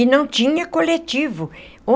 E não tinha coletivo.